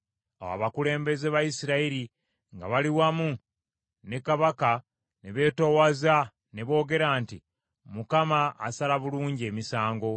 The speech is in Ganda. Awo abakulembeze ba Isirayiri, nga bali wamu ne kabaka ne beetoowaza ne boogera nti, “ Mukama asala bulungi emisango.”